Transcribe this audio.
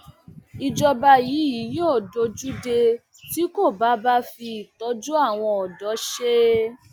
ìjọba yìí yóò dojú dé tí kò bá bá fi ìtọjú àwọn ọdọ ṣe